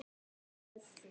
Hún er glöð.